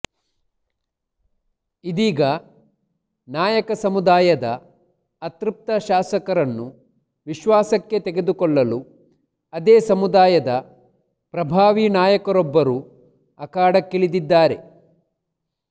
ಇದೀಗ ನಾಯಕ ಸಮುದಾಯದ ಅತೃಪ್ತ ಶಾಸಕರನ್ನು ವಿಶ್ವಾಸಕ್ಕೆ ತೆಗೆದುಕೊಳ್ಳಲು ಅದೇ ಸಮುದಾಯದ ಪ್ರಭಾವಿ ನಾಯಕರೊಬ್ಬರು ಅಖಾಡಕ್ಕಿಳಿದಿದ್ದಾರೆ